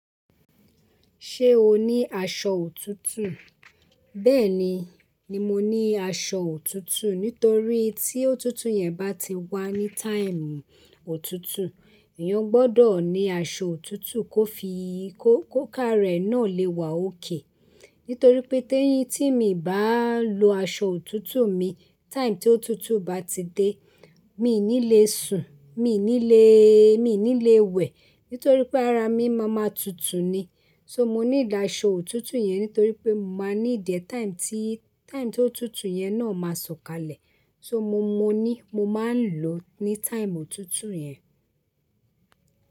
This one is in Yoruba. Ṣé o ní aṣọ òtútù? Bẹ́ẹ̀ni, ni mo ní aṣọ òtútù. Nítorí tí òtútù yẹn bá ti wá ní táìmù òtútù, èèyàn gbọ́dọ̀ ní aṣọ òtútù kó fi kó ká rẹ̀ náà lè wá ókè. Nítorí pé tí èyí tí mi bá lo aṣọ òtútù mi táìmù tí òtútù bá ti dé, mi i ní le sùn, mi i ní le, mi i ní le wẹ̀. Nítorí pé ara mi máa ma tutù ni. So mo need aṣọ òtútù yẹn nítorí pé mo máa need ẹ́ táìmù tí, táìmù tí òtútù yẹn náà máa sọ̀kalẹ̀. So mo, mo ní, mo máa ń lò ní táìmù òtútù yẹn.